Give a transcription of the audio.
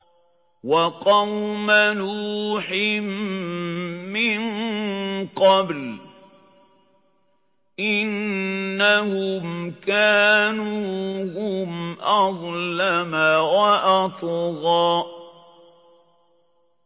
وَقَوْمَ نُوحٍ مِّن قَبْلُ ۖ إِنَّهُمْ كَانُوا هُمْ أَظْلَمَ وَأَطْغَىٰ